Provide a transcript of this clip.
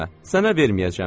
Sənə verməyəcəm.